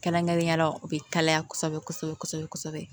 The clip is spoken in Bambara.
Kɛrɛnkɛrɛnnenya la u bɛ kalaya kosɛbɛ kosɛbɛ kosɛbɛ